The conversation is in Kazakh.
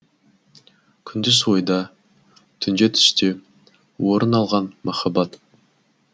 күндіз ойда түнде түсте орын алған махаббат